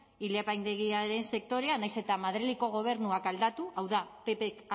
ile apaindegien sektorea nahiz eta madrileko gobernuak aldatu hau da ppk